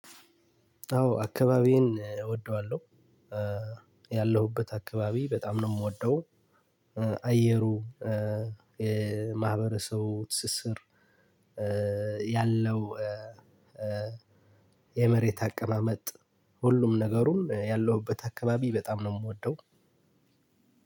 አዎ አካባቢዬን እወደዋለሁ ያለሁበት አካባቢ በጣም ነው የምወደው። አየሩ የማህበረሰቡ ትስስር ያለው። የመሬት አቀማመጥ ሁሉም ነገሩን ያለሁበት አካባቢ በጣም ነው የምወደው።